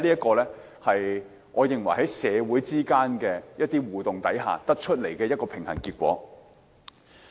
所以，我認為這是在社會互動之下所取得的平衡結果。